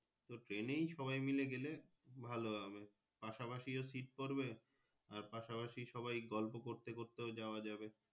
তো Train এই সবাই মিলে গালে ভালো হবে পাশা পাশি Seat পড়বে আর পাশা পাশি সবাই গল্প করতে করতেও যাওয়া যাবে।